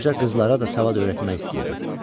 Qoca qızlara da savad öyrətmək istəyirdi.